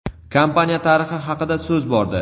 kompaniya tarixi haqida so‘z bordi.